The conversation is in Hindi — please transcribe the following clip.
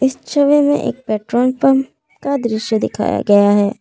छवि में एक पेट्रोल पंप का दृश्य दिखाया गया है।